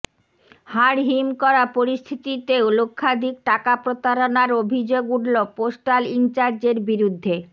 হাড়হিম করা পরিস্থিতিতে লক্ষাধিক টাকা প্রতারণার অভিযোগ উঠল পোস্টাল ইনচার্জের বিরুদ্ধে